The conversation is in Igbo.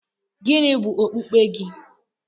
Gịnị bụ okpukpe gị?